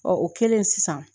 o kɛlen sisan